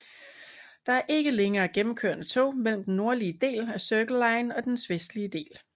Der er ikke længere gennemkørende tog mellem den nordlige del af Circle line og dens vestlige del